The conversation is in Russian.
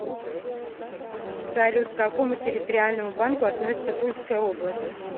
салют к какому территориальному банку относится тульская область